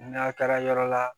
N'a taara yɔrɔ la